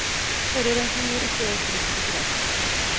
Forurensning gir ikke økt risiko for astma.